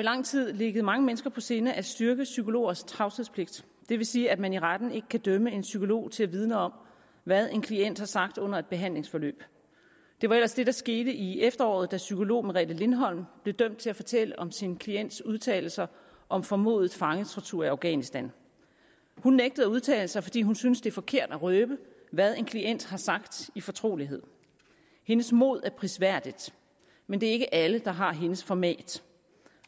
i lang tid ligget mange mennesker på sinde at styrke psykologers tavshedspligt vil sige at man i retten ikke kan dømme en psykolog til at vidne om hvad en klient har sagt under et behandlingsforløb det var ellers det der skete i efteråret da psykolog merete lindholm blev dømt til at fortælle om sin klients udtalelser om formodet fangetortur i afghanistan hun nægtede at udtale sig fordi hun synes det er forkert at røbe hvad en klient har sagt i fortrolighed hendes mod er prisværdigt men det er ikke alle der har hendes format